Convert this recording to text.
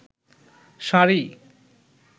sari